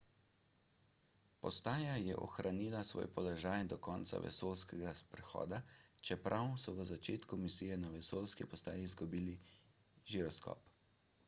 postaja je ohranila svoj položaj do konca vesoljskega sprehoda čeprav so v začetku misije na vesoljski postaji izgubili žiroskop